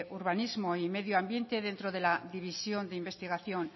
urbanismo y medio ambiente dentro de la división de investigación